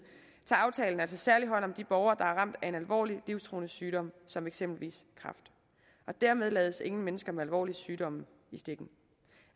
tager aftalen altså særlig hånd om de borgere der er ramt af en alvorlig livstruende sygdom som eksempelvis kræft dermed lades ingen mennesker med alvorlige sygdomme i stikken